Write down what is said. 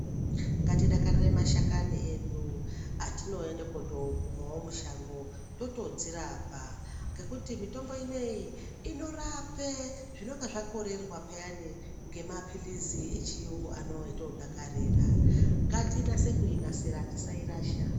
Ngatidakarire mashakani edu atinoenda kutonokumawo mushango totodzirapa ngekuti mitombo ineyi inorape zvinenge zvakorerwa peyani ngemapilizi echiungu anoatodakarira ngatinasa inasirira tisairasha.